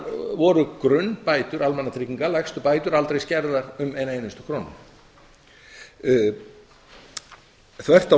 voru grunnbætur almannatrygginga lægstu bætur aldrei skertar um eina einustu krónu þvert á